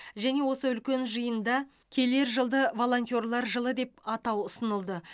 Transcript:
және осы үлкен жиында келер жылды волонтерлар жылы деп атау ұсынылды